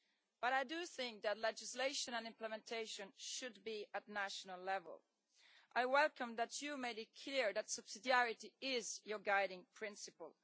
But I do think that legislation and implementation should be at national level. I welcome that you made it clear that subsidiarity is your guiding principle.